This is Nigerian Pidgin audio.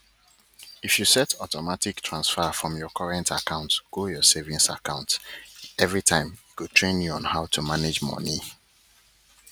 if you set automatic transfer from your current account go your savings account everi time e go train you on how to manage moni